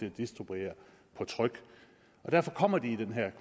at distribuere på tryk derfor kommer de i den her